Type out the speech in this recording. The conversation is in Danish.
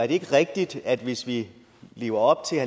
ikke rigtigt at hvis vi lever op til